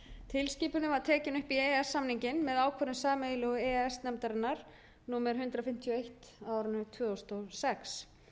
tilskipunin var tekin upp í e e s samninginn með ákvörðun sameiginlegu e e s nefndarinnar númer hundrað fimmtíu og eitt tvö þúsund og sex